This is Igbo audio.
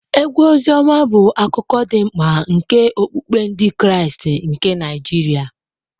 Egwu Oziọma bụ akụkụ dị mkpa nke okpukpe Ndị Kraịst nke Naijiria.